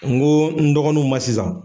N ko n dɔgɔninw ma sisan.